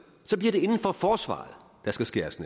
bliver det inden for forsvaret der skal skæres